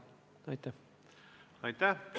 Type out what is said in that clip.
Aitäh!